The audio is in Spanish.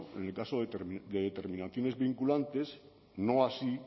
en el caso de determinaciones vinculantes no así